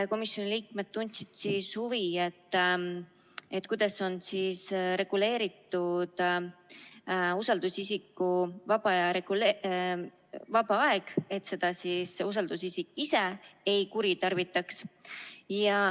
Komisjoni liikmed tundsid huvi, kuidas on reguleeritud usaldusisiku vaba aeg, et usaldusisik seda ei kuritarvitaks.